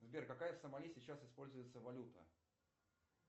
сбер какая в сомали сейчас используется валюта